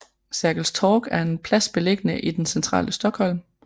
Sergels Torg er en plads beliggende i det centrale Stockholm